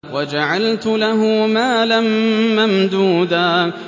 وَجَعَلْتُ لَهُ مَالًا مَّمْدُودًا